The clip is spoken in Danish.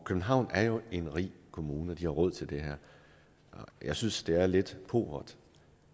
københavn er jo en rig kommune og de har råd til det her jeg synes det er lidt pauvert